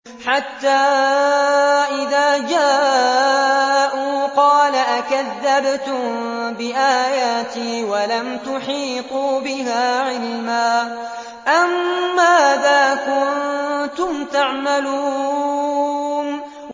حَتَّىٰ إِذَا جَاءُوا قَالَ أَكَذَّبْتُم بِآيَاتِي وَلَمْ تُحِيطُوا بِهَا عِلْمًا أَمَّاذَا كُنتُمْ تَعْمَلُونَ